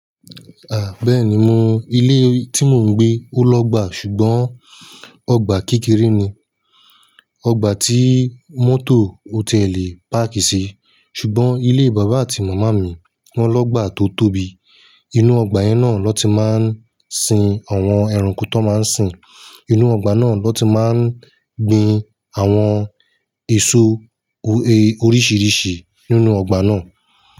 À, bẹ́ẹ̀ni mò, ilé tí mò ń gbé ó lọ́gbà ṣùgbọ́n ọgbà kékeré ni. Ọgbà tí mọ́tò ko tiẹ lẹ páàkì sí. Ṣùgbọ́n ilé bàbá àti màmá mi wọ́n lọ́gbà tó tóbi. Inú ọgbà yẹn náà ló ti máa ń sin àwọn ẹranko tó máa ń sìn. Inú ọgbà náà ló ti máa ń gbin àwọn èso oríṣìíríṣìí nínú ọgbà náà.